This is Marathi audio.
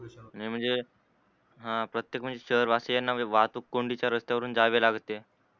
नाही म्हणजे प्रत्येक शहर वाशियांना वाहतूक कोन्धीच्या रस्त्यावरून जावे लाग. ते